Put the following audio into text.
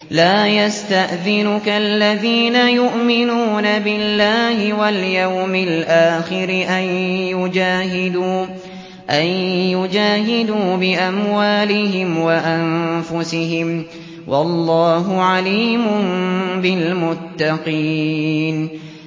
لَا يَسْتَأْذِنُكَ الَّذِينَ يُؤْمِنُونَ بِاللَّهِ وَالْيَوْمِ الْآخِرِ أَن يُجَاهِدُوا بِأَمْوَالِهِمْ وَأَنفُسِهِمْ ۗ وَاللَّهُ عَلِيمٌ بِالْمُتَّقِينَ